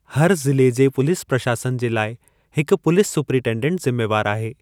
हर ज़िले जे पुलिस प्रशासन जे लाइ हिकु पुलिस सुपरिन्टेन्डेन्ट ज़िम्मेवारु आहे।